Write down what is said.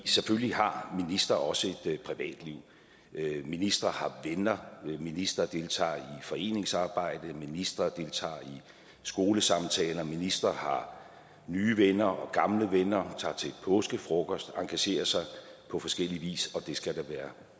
selvfølgelig har ministre også et privatliv ministre har venner ministre deltager i foreningsarbejde ministre deltager i skolesamtaler ministre har nye venner og gamle venner og tager til påskefrokost og engagerer sig på forskellig vis og det skal der være